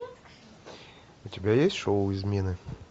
у тебя есть шоу измены